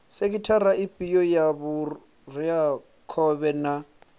sekhithara ifhio ya vhureakhovhe na